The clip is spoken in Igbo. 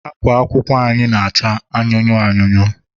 akwa akwụkwọ anyị na-acha anụnụ anụnụ.